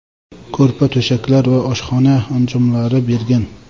ko‘rpa-to‘shaklar va oshxona anjomlari bergan.